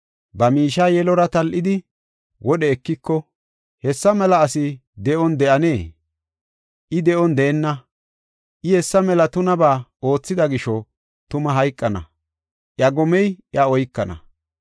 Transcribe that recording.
ba miishiya yelora tal7idi wodhe ekiko, hessa mela asi de7on de7anee? I de7on deenna! I hessa mela tunabaa oothida gisho tuma hayqana; iya gomey iya oykana.